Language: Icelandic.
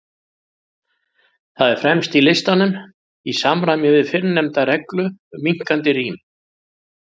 Það er fremst í listanum, í samræmi við fyrrnefnda reglu um minnkandi rím.